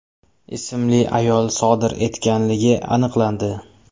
ismli ayol sodir etganligi aniqlandi.